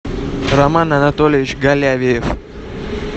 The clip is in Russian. роман анатольевич голявиев